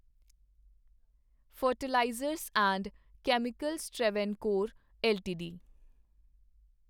fertilizers and chemicals Travancore LTD